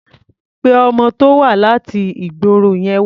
Pé ọmọ tó wá láti ìgboro yẹn wá.